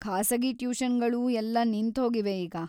ಖಾಸಗಿ ಟ್ಯೂಷನ್‌ಗಳೂ ಎಲ್ಲ ನಿಂತ್ಹೋಗಿವೆ ಈಗ.